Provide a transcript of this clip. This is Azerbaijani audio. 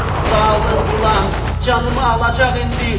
Zalım ilan, canımı alacaq indi!